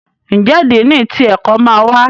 Njé Dínni tí ẹkọ má wá?